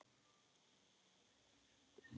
Þá er komið að því.